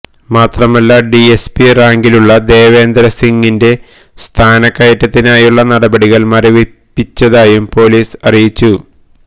മാത്രമല്ല ഡിഎസ്പി റാങ്കിലുള്ള ദേവേന്ദ്ര സിംഗിന്റെ സ്ഥാനക്കയറ്റത്തിനായുള്ള നടപടികള് മരവിപ്പിച്ചതായും പൊലീസ് അറിയിച്ചിരുന്നു